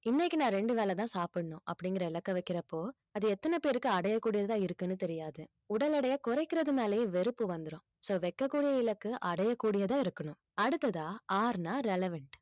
இன்னைக்கு நான் இரண்டு வேளைதான் சாப்பிடணும் அப்படிங்கிற இலக்கை வைக்கிறப்போ அது எத்தன பேருக்கு அடையக்கூடியதா இருக்குன்னு தெரியாது உடல் எடையை குறைக்கிறது மேலயே வெறுப்பு வந்துரும் so வெட்கக்கூடிய இலக்கு அடையக்கூடியதா இருக்கணும் அடுத்ததா R ன்னா relevant